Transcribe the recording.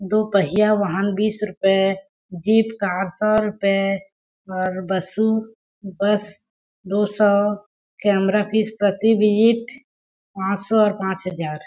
दो पहिया वाहन बीस रूप ए जीप कार सो रूपए और बसु बस दो सो और कैमरा फीस प्रति पांच सौ और पांच हजार--